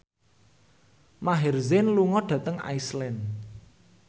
Maher Zein lunga dhateng Iceland